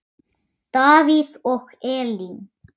Davíð og Elín.